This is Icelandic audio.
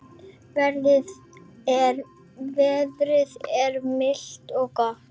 Veðrið er milt og gott.